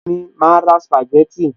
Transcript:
Bẹ́ẹ̀ni, màá ra sìpàgẹ́tì